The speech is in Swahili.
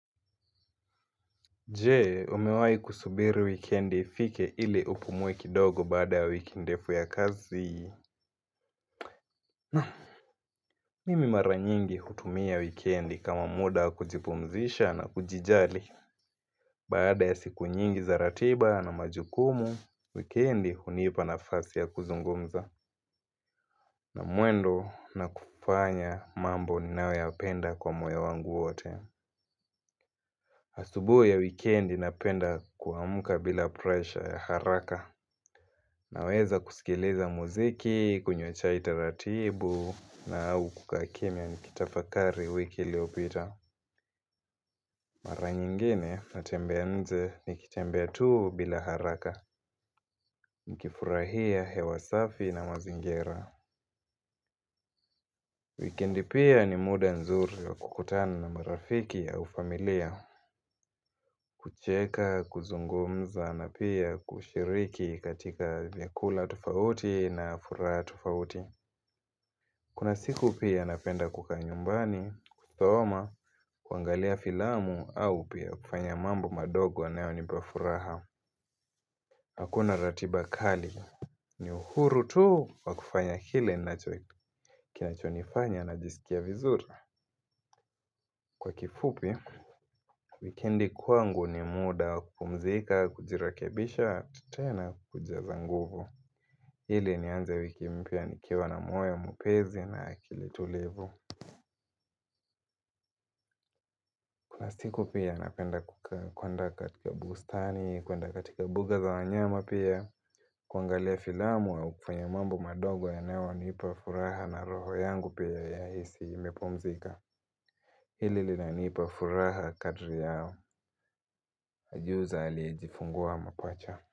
Jee, umewai kusubiri wikendi fike ili upumue kidogo baada ya wiki ndefu ya kazi? Nah, mimi mara nyingi hutumia wikendi kama muda kujipumzisha na kujijali. Baada ya siku nyingi za ratiba na majukumu, wikendi hunipa na fasi ya kuzungumza. Na muendo na kufanya mambo ninayo ya penda kwa moyo wangu wote. Asubuhi ya wikendi na penda kuamuka bila pressure ya haraka. Naweza kusikiliza muziki, kunywa chai taratibu na au kukaa kimia nikitafakari wiki iliopita. Mara nyingine na tembea nje nikitembea tuu bila haraka. Nkifurahia hewa safi na mazingira. Wikendi pia ni muda nzuri wa kukutana na marafiki au familia. Kucheka, kuzungumza na pia kushiriki katika vyakula tofauti na furaha tofauti. Kuna siku pia napenda kukaa nyumbani, kusoma, kuangalia filamu au pia kufanya mambo madogo an yo nipafuraha. Hakuna ratiba kali ni uhuru tu kwa kufanya kile kinachonifanya na jisikia vizuri. Kwa kifupi, wikendi kwangu ni muda kupumzika, kujirekebisha, tena kuja zanguvu. Ili nianze wiki mpya ni kiwa na moyo mapezi na akili tulivu. Nasiku pia napenda kukaa kuenda katika bustani, kuenda katika buga za wanyama pia kuangalia filamu au kufanya mambo madogo ya nayo nipa furaha na roho yangu pia ya hisi imepumzika Hili linanipa furaha kadri yao, ka jiuza aliyejifungua mapacha.